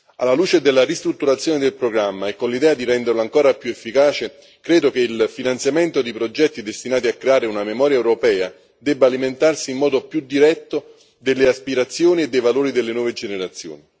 Alla luce della ristrutturazione del programma e con l'idea di renderlo ancora più efficace, credo che il finanziamento di progetti destinati a creare una memoria europea debba alimentarsi in modo più diretto delle aspirazioni e dei valori delle nuove generazioni.